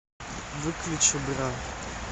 выключи бра